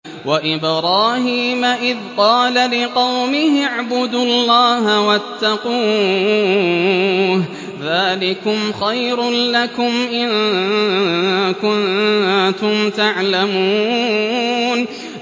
وَإِبْرَاهِيمَ إِذْ قَالَ لِقَوْمِهِ اعْبُدُوا اللَّهَ وَاتَّقُوهُ ۖ ذَٰلِكُمْ خَيْرٌ لَّكُمْ إِن كُنتُمْ تَعْلَمُونَ